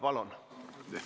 Palun!